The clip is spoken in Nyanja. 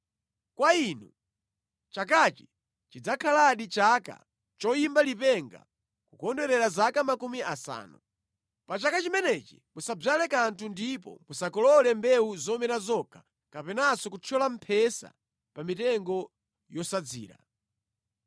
Kwa inu chakachi chidzakhaladi chaka choyimba lipenga kukondwerera zaka makumi asanu. Pa chaka chimenechi musadzale kanthu ndipo musakolole mbewu zomera zokha kapenanso kuthyola mphesa pa mitengo yosasadzira.